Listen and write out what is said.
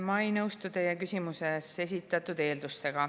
Ma ei nõustu teie küsimuses esitatud eeldustega.